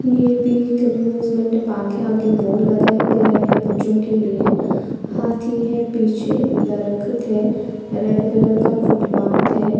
यह भी एक अम्यूज़्मन्ट पार्क है आगे बोर्ड लगाया गया है बच्चो के लिए हाथी है पीछे दरकेटह है रेड कलर का फूटपाथ है।